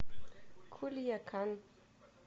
кульякан